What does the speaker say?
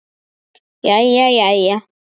Jæja, jæja.